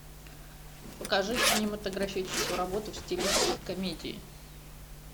покажи кинематографическую работу в стилистике комедии